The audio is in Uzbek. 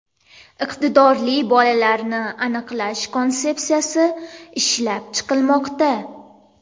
Iqtidorli bolalarni aniqlash konsepsiyasi ishlab chiqilmoqda.